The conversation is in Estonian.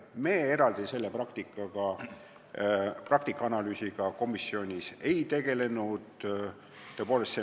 Me eraldi selle praktika analüüsiga komisjonis ei tegelenud.